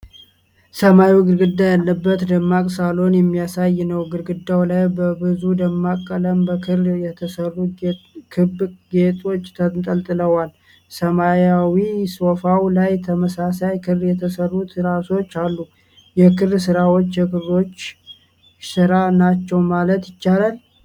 ሰማያዊ ግድግዳ ያለበት ደማቅ ሳሎን የሚያሳይ ነው። ግድግዳው ላይ በብዙ ደማቅ ቀለም በክር የተሠሩ ክብ ጌጦች ተንጠልጥለዋል። ሰማያዊ ሶፋው ላይ ተመሳሳይ ክር የተሠሩ ትራሶች አሉ። የክር ሥራዎቹ የክሮሼ ሥራ ናቸው ማለት ይቻላል?